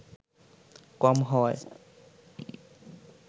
কম হওয়ায়